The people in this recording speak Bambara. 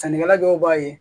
Sannikɛla dɔw b'a ye